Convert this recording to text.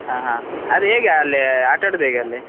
ಹಾ ಹಾ ಅದು ಹೇಗೆ ಅಲ್ಲಿ ಆಟಾಡುದು ಹೇಗೆ ಅಲ್ಲಿ.